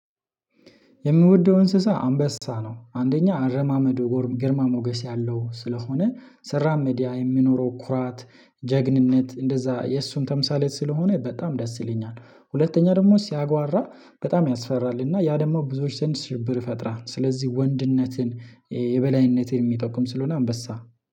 የምወደው እንስሳ አንበሳ ነው። አንደኛ አረማመድ ግርማ ሞገስ ያለው ስለሆነ ሲራመድ ያ የሚኖረው ኩራት ጀግንነት እንደዛ የእሱን ተምሳሌት ስለሆነ በጣም ደስ ይለኛል። ሁለተኛ ደግሞ ሲያጓራ በጣም ያስፈራልና ያ ደግሞ ብዙወች ዘንደ ሽብር ይፈጥራል። ስለዚህ ወንድነትን የበላይነትን የሚጠቁም ስለሆነ አንበሳ